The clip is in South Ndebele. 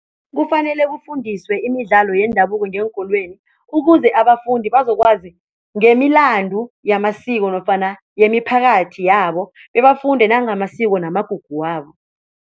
Kufanele kufundiswe imidlalo yendabuko ngeenkolweni ukuze abafundi bazokwazi ngemilandu yamasiko nofana yemiphakathi yabo bebafunde nangamasiko namagugu wabo.